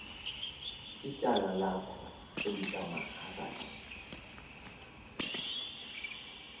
ityala lakhe elikamaharaj